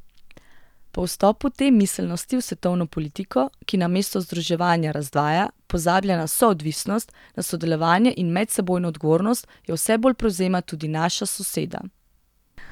Po vstopu te miselnosti v svetovno politiko, ki namesto združevanja razdvaja, pozablja na soodvisnost, na sodelovanje in medsebojno odgovornost, jo vse bolj prevzema tudi naša soseda.